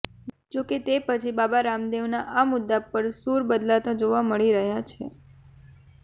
જો કે તે પછી બાબા રામદેવના આ મુદ્દા પર સૂર બદલતા જોવા મળી રહ્યા છે